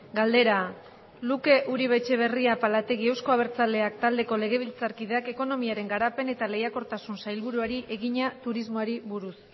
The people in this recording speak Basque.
galdera luke uribe etxebarria apalategi euzko abertzaleak taldeko legebiltzarkideak ekonomiaren garapen eta lehiakortasuneko sailburuari egina turismoari buruz